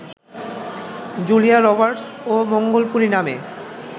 Julia Roberts ও মঙ্গলপুরি নামে